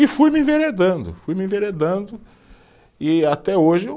E fui me enveredando, fui me enveredando, e até hoje eu